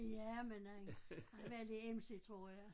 Ja men han har været lidt emsig tror jeg